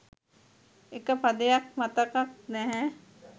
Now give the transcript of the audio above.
එක පදයක් මතකත් නැහැ